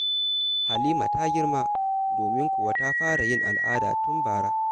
Halima ta girma, domin kuwa ta fara yin al'ada tun bara.